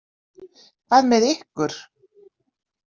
Hvað með ykkur.